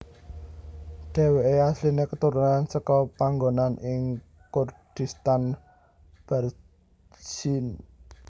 Dheweke asline keturunan seka panggonan ing Kurdistan Barzinj